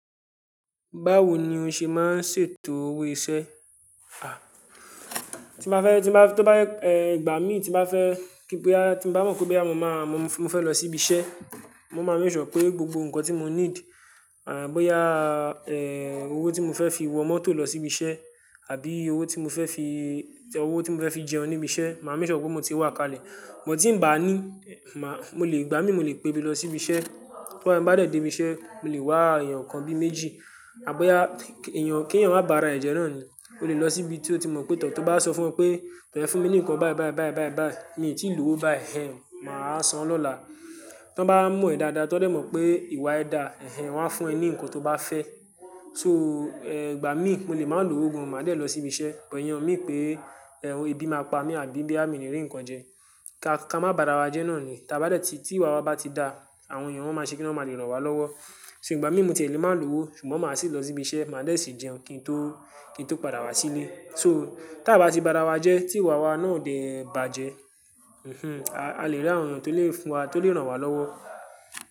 Báwo ni o ṣe máa ń ṣètò owó iṣẹ́? Ah, tí m ba fẹ́, tí mo bá, tó bá yẹ, eh, ìgbà mí tí m bá fẹ́ kí pé a, tí mo bá mọ̀ pé bí à mo máa, mo fẹ́ lọ síbi iṣẹ́, mo máa ń make sure pé gbogbo nǹkan tí mo need, à bóyá, eh, owó tí mo fẹ́ fi wọ mọ́tò lọ síbi iṣẹ́ àbí owó tí mo fẹ́ fi, owó tí mo fẹ́ fi jẹun níbi iṣẹ́, màá rí ṣọ pé mo ti wà kalẹ̀. Mo tí ń bá ní, màá, mo lè, ìgbà mí mo lè pe bí lọ síbi iṣẹ́. Tó bá, m bá dè dé ibi iṣẹ́, mo lè wá èèyàn kan bíi méjì. À bóyá èèyàn, k'èèyàn má bààrà ẹ̀ jẹ́ náà ni. O lè lọ síbi tí ó ti mọ̀ pé tọ̀. Tó bá sọ fún ọ pé tọ́ e fún mi nìkan báì báì báì báì báì, mi ò tí ì lòwó báì, hhen, màá san lọ́la. Tọ́n bá mọ̀ ẹ dáadáa, tọ́n dè mọ̀ pé ìwà ẹ dà, hhen, wọ́n á fún ẹ ní ǹkan tó bá fẹ́. So, eh, ìgbà mí mo lè máa ń lo owó gan, màá dè lọ sí ibi iṣẹ́. But iyen o mean pé, eh, ebi máa pa mí àbí bí boyà mí ní rí ǹkan jẹ. Ka, ká má bààrà wa jẹ́ náà ni. Tí a bá de ti, tí ìwà wa bá ti dà, àwọn èèyàn wọ́n máa ṣe kí wọn má lè ràn wá lọ́wọ́. So ìgbà mí mo ò tí è lé máa lò owó, ṣùgbọ́n màá sì lọ sí ibi iṣẹ́, màá dè sì jẹun kí n tó, kí n tó padà wá sílé. So, ta bá ti bààrà wa jẹ́, tí ìwà wa náà ò dè bàjẹ́, hm, a lè rí àwọn èèyàn tó lè fún wa, tó lè ràn wá lọ́wọ́